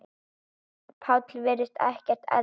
Páll virðist ekkert eldast.